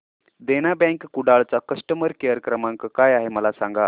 देना bank Kudal चा customer care क्रमांक काय आहे मला सांगा